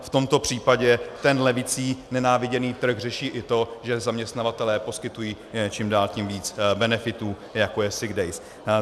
V tomto případě ten levicí nenáviděný trh řeší i to, že zaměstnavatelé poskytují čím dál tím víc benefitů, jako je sick days.